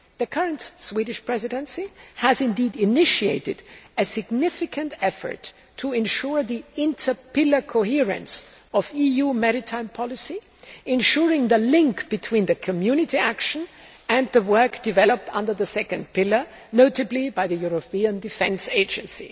The current Swedish Presidency has initiated a significant effort to ensure the inter pillar coherence of EU maritime policy, ensuring the link between Community action and the work developed under the second pillar, notably by the European Defence Agency.